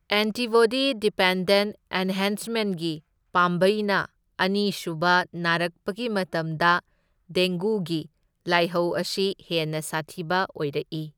Antibody dependent ꯑꯦꯟꯍꯦꯟꯁꯃꯦꯟꯠꯒꯤ ꯄꯥꯝꯕꯩꯅ ꯑꯅꯤ ꯁꯨꯕ ꯅꯥꯔꯛꯄꯒꯤ ꯃꯇꯝꯗ ꯗꯦꯡꯒꯨꯒꯤ ꯂꯥꯏꯍꯧ ꯑꯁꯤ ꯍꯦꯟꯅ ꯁꯥꯊꯤꯕ ꯑꯣꯏꯔꯛꯏ꯫